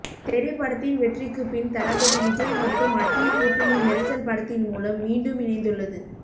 தெறி படத்தின் வெற்றிக்குப்பின் தளபதி விஜய் மற்றும் அட்லி கூட்டணி மெர்சல் படத்தின்மூலம் மீண்டும் இணைந்துள்ளது